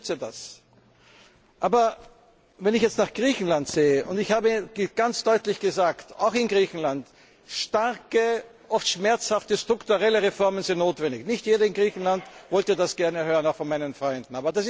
Ich unterstütze das. Aber wenn ich jetzt nach Griechenland schaue und ich habe ganz deutlich gesagt, auch in Griechenland, dass starke, oft schmerzhafte strukturelle Reformen notwendig sind. Nicht jeder in Griechenland wollte das gerne hören, auch von meinen Freunden.